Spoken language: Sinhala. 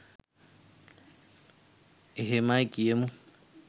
එහෙමයි කියමු